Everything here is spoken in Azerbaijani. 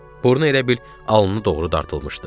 Burnu elə bil alnına doğru dartılmışdı.